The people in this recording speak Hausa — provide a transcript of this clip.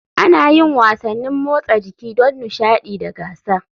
Ana yin wasannin motsa jiki don nishaɗi da gasa.